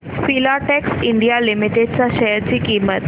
Filatex India limited च्या share ची किंमत